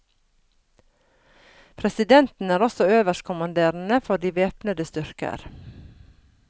Presidenten er også øverstkommanderende for de væpnede styrker.